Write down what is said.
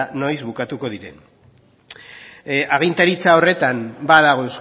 noiz bukatuko diren agintaritza horretan badago